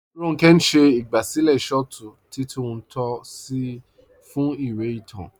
Ronkẹ̀ n ṣẹ̀ igbásílẹ̀ shọ̀tù titúntò sí fún ìwé ìtàn.